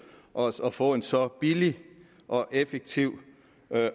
os at få så billig og effektiv